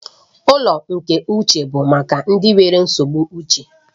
Ụlọ nke uche bụ maka ndị nwere nsogbu uche